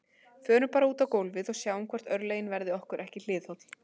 Förum bara út á gólfið og sjáum hvort örlögin verði okkur ekki hliðholl